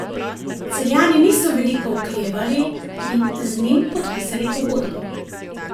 Celjani niso veliko oklevali in z njim podpisali pogodbo.